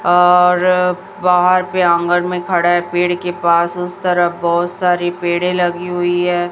और बाहर पे आंगन में खड़े हैं पेड़ के पास उस तरफ बहुत सारी पेड़े लगी हुई है।